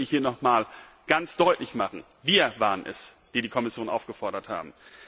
Das möchte ich hier noch einmal ganz deutlich machen Wir waren es, die die Kommission aufgefordert haben!